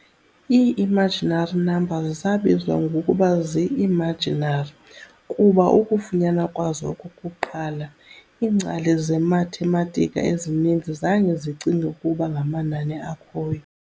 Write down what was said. Ii-imaginary numbers zabizwa ngokuba zii-"imaginary" kuba ukufunyanwa kwazo okokuqala, iingcali zemathematika ezininzi zange zicinge okokuba ngamanani akhoyo.